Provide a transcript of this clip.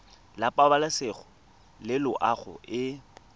la pabalesego le loago e